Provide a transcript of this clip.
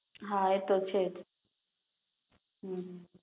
હા એ તો છેજ